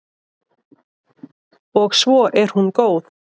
Og svo er hún góð.